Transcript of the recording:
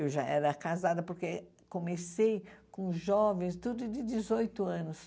Eu já era casada, porque comecei com jovens, tudo de dezoito anos.